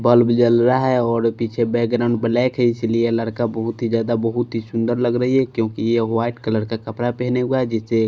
bulb जल रहा है और पीछे बैकग्राउंड ब्लैक है इसलिए लड़का बहुत ही ज्यादा बहुत ही सुंदर लग रही है क्योंकि ये वाइट कलर का कपड़ा पहने हुआ है जिससे--